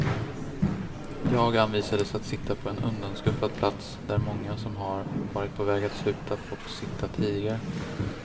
Jag anvisades att sitta på en undanskuffad plats där många som har varit på väg att sluta fått sitta tidigare.